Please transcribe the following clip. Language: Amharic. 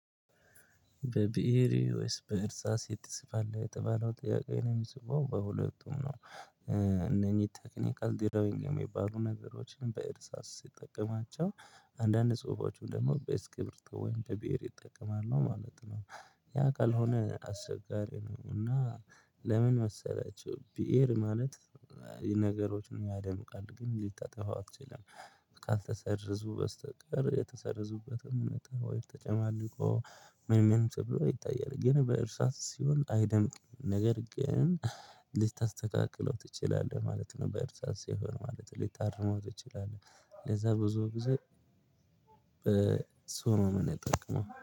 በብር? ወይስ በእርሳስ ትጽፋለህ የተባለው ጥያቄ ነው የምጽፈው በሁለቱም ነው እነኚህ ቴክኒካል ድራዊንግ የሚባሉ ነገሮችን በእርሳስ ሲጠቀማቸው አንዳንድ ጽሁፎችም ደግሞ በኤክስቢሪቶ ወይም በብር እጠቀማለው ማለት ነው። ያ ቀካልሆነ አስቸጋሪ ነው። እና ለምን መሰላችሁ ብእር ማለት ነገሮችን ያደምቃል ግን ልታጠፋው አትችልም። ካልተሰረዙ በስተቀር የተሰረዙበትም ወይ ተጨማልቆ ምንምን ተብሎ ይታያል። ግን በእርሳት ሲሆን አይደምቅም ነገር ግን ልታስተካከለው ትችላለህ ማለት ነው። በእርሳ ሲሆን ማለት ሊታርመው ትችላለህ ለዛ ብዙ ብዙ እሱን ነው እምጠቀመው